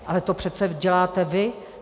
Ale to přece děláte vy.